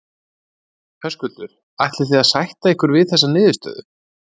Höskuldur: Ætlið þið að sætta ykkur við þessa niðurstöðu?